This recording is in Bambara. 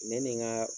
Ne ni nka